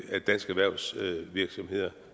at danske erhvervsvirksomheder